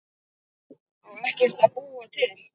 Á ekkert að búa til?